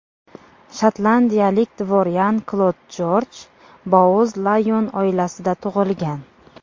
Shotlandiyalik dvoryan Klod Jorj Bouz-Layon oilasida tug‘ilgan.